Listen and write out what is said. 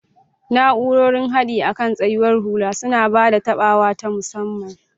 Na'urorin haɗi akan tsayawar hula suna ba da taɓawa ta musamman.